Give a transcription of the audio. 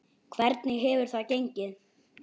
Hvernig hefur það gengið?